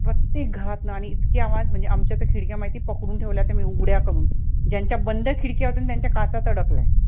प्रत्येक घरात आणि इतके आवाज म्हणजे आमच्यातर खिडक्या माहिती पकडून ठेवल्या होत्या मी उघड्या करून, ज्यांच्या बंद खिडक्या होत्या ना त्यांच्या काचा तडकल्या